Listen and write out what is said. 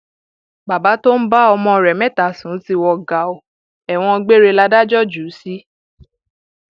bàbá tó ń bá ọmọ rẹ mẹta sùn ti wọ gàá ẹwọn gbére látàjọ jù ú sí